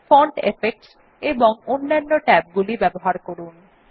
font effects এবং অন্যান্য ট্যাবগুলি ব্যবহার করুন